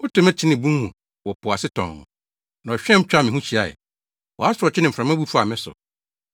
Wotow me kyenee bun mu wɔ po ase tɔnn, na ɔhweam twaa me ho hyiae; wʼasorɔkye ne mframa bu faa me so.